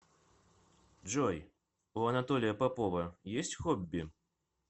джой у анатолия попова есть хобби